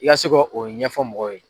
I k'a se ko o ɲɛfɔ mɔgɔw ye.